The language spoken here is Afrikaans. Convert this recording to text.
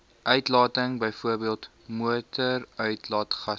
uitlating bv motoruitlaatgasse